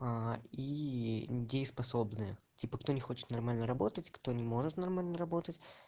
и дееспособное типа кто не хочет нормально работать кто не может нормально работать